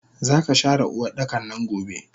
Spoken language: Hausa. Zaka share Uwardakannan gobe!